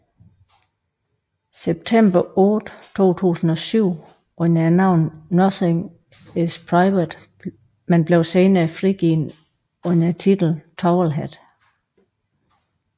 September 8 2007 under navnet Nothing is Private men blev senere frigivet under titlen Towelhead